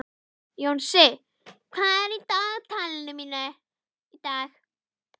Jónsi, hvað er á dagatalinu í dag?